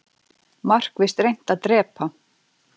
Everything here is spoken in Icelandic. Markvisst reynt að drepa